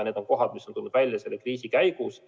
Need on kohad, mis on tulnud välja selle kriisi käigus.